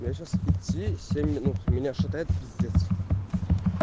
мне сейчас идти семь минут меня шатает пиздец